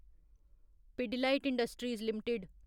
Pidilite industries limited